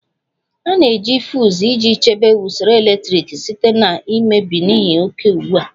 A na-eji fuuz iji chebe usoro eletriki site na mmebi n'ihi oke ugbu a